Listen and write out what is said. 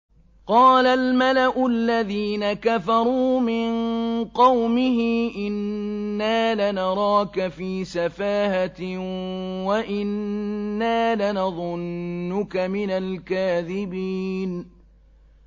قَالَ الْمَلَأُ الَّذِينَ كَفَرُوا مِن قَوْمِهِ إِنَّا لَنَرَاكَ فِي سَفَاهَةٍ وَإِنَّا لَنَظُنُّكَ مِنَ الْكَاذِبِينَ